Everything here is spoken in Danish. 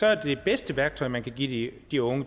er det bedste værktøj man kan give de unge